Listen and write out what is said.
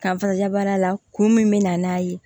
Kanfara jaba la kun min bɛ na n'a ye